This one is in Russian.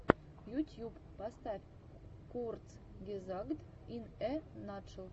ютьюб поставь курцгезагт ин э натшел